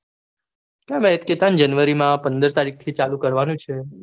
cat હતા ને january માં પંદર તારીખથી ચાલુ કરવાનું છે